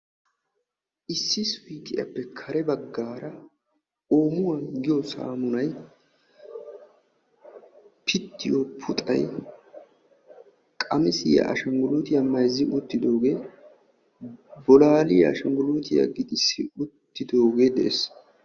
issi suyqqiyaappe kare baggar oomuwaa giyo saamunay, piittiyo puxxay, qammissiya ashshanggulitiyaa mayzzi uttidooge, bolalliyaa ashshanggulutiyaa gixxisi uttidooge de'ees.